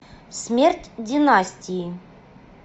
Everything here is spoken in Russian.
смерть династии